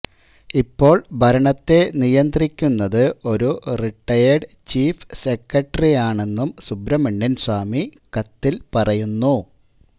ഇപ്പോള് ഭരണത്തെ നിയന്ത്രിക്കുന്നത് ഒരു റിട്ടയേര്ഡ് ചീഫ് സെക്രട്ടറിയാണെന്നും സുബ്രഹ്മണ്യന് സ്വാമി കത്തില് പറയുന്നു